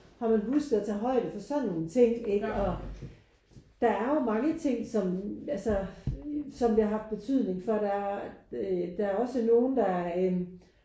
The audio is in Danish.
Har man husket at tage højde for sådan nogle ting ikke? Og der er jo mange ting som altså som det har haft betydning for. Der er øh der er også nogen der øh